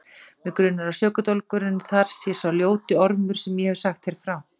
Mig grunar að sökudólgurinn þar sé sá ljóti ormur sem ég hef sagt þér frá.